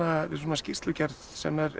við svona skýrslugerð sem er